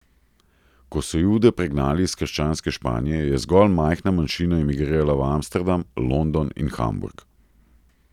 Ko so Jude pregnali iz krščanske Španije, je zgolj majhna manjšina imigrirala v Amsterdam, London in Hamburg.